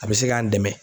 A bɛ se k'an dɛmɛ